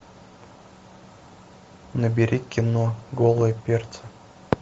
набери кино голые перцы